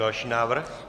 Další návrh.